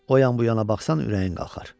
O yan bu yana baxsan ürəyin qalxar.